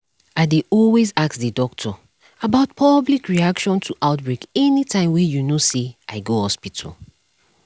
i dey always ask the doctor about public reaction to outbreak anytym wey you know say i go hospital